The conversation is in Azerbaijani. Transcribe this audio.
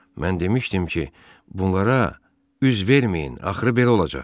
Mən demişdim ki, bunlara üz verməyin, axırı belə olacaq.